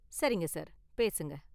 சரிங்க சார், பேசுங்க.